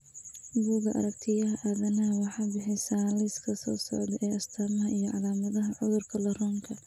Bugga Aaragtiyaha Aadanaha waxay bixisaa liiska soo socda ee astamaha iyo calaamadaha cudurka Laronka.